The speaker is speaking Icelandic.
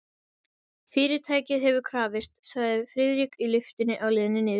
Fyrirtækið hefur krafist, sagði Friðrik í lyftunni á leiðinni niður.